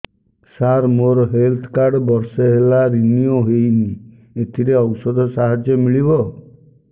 ସାର ମୋର health card ବର୍ଷେ ହେଲା ରିନିଓ ହେଇନି ଏଥିରେ ଔଷଧ ସାହାଯ୍ୟ ମିଳିବ